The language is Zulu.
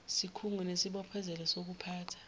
sikhungo unesibophezelo sokuphatha